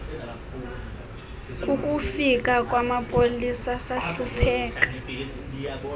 kukufika kwamapolisa sahlupheka